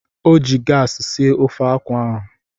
O ji gaasị sie ofe akwụ ahụ.